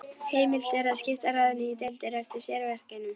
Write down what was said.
Heimilt er að skipta ráðinu í deildir eftir sérverkefnum.